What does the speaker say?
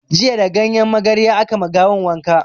Jiya da ganyen magarya aka ma gawan wanka